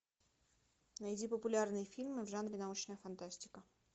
найди популярные фильмы в жанре научная фантастика